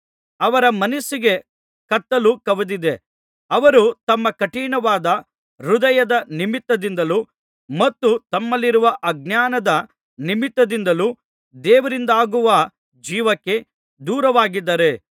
ಅವರ ಮನಸ್ಸಿಗೆ ಕತ್ತಲು ಕವಿದಿದೆ ಅವರು ತಮ್ಮ ಕಠಿಣವಾದ ಹೃದಯದ ನಿಮಿತ್ತದಿಂದಲೂ ಮತ್ತು ತಮ್ಮಲ್ಲಿರುವ ಅಜ್ಞಾನದ ನಿಮಿತ್ತದಿಂದಲೂ ದೇವರಿಂದಾಗುವ ಜೀವಕ್ಕೆ ದೂರವಾಗಿದ್ದಾರೆ